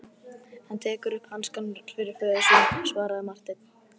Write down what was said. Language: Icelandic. Hann tekur upp hanskann fyrir föður sinn, svaraði Marteinn.